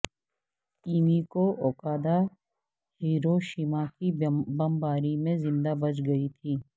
Emiko Okada Hiroshima کی بمباری میں زندہ بچ گئی تھیں